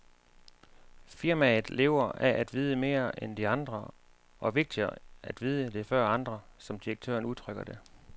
Firmaet lever af at vide mere end andre og, vigtigere, at vide det før andre, som direktøren udtrykker det.